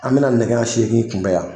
An mɛna nɛgɛ ɲɛ seegin kunbɛn yan.